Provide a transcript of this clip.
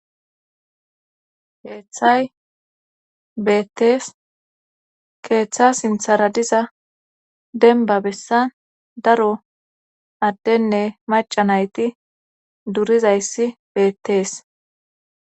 Heeththay beettees keeththa sinthara diza denba bessan daro addenne maca nayti durizayssi beettees